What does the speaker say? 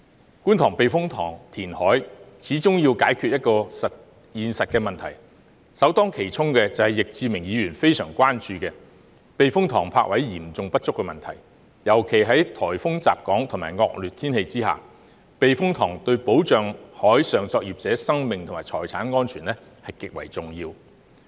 在觀塘避風塘填海，始終要解決現實的問題，首當其衝的正是易志明議員非常關注的，即避風塘泊位嚴重不足的問題，尤其是在颱風襲港和惡劣天氣下，避風塘對保障海上作業者的生命和財產安全，極為重要。